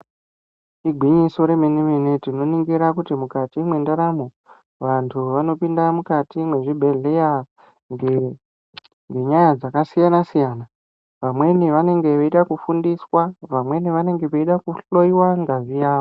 Igwinyiso remene-mene, tinoringira kuti mukati mwendaramo vantu vanopinda mukati mwezvibhedhleya ngenyaya dzakasiyana-siyana, vamweni vanenge veida kufundiswa, vamweni vanonga veida kuhloiwa ngazi yavo.